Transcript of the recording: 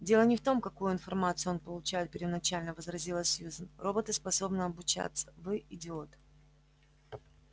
дело не в том какую информацию он получает первоначально возразила сьюзен роботы способны обучаться вы идиот